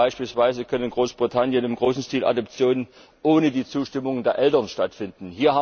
Beispielsweise können in Großbritannien im großen Stil Adoptionen ohne die Zustimmung der Eltern stattfinden.